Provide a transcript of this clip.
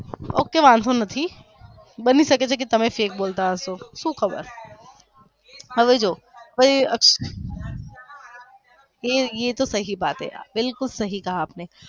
okay વાંધો નથી બનીશકે છે કે તમે fake બોલતા હસો શુ ખબર હવે જોવો ये तो सही बात है बिलकुल सही कहा आपने